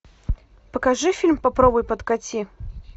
покажи фильм попробуй подкати